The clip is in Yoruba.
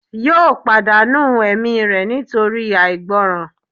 yóò pàdánù ẹ̀mí rẹ̀ nítorí àìgbọràn